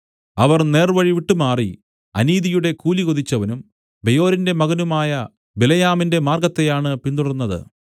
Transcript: അവർ നേർവഴി വിട്ടുമാറി അനീതിയുടെ കൂലി കൊതിച്ചവനും ബെയോരിന്റെ മകനുമായ ബിലെയാമിന്റെ മാർഗ്ഗത്തെയാണ് പിന്തുടർന്നത്